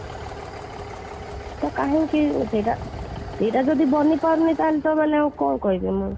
ତା'ହେଲେ କାହିଁକି ସେଟା ଯଦି ବନି ପାରୁନି ତା'ହେଲେ କାଇଁ କହିବି ମୁଁ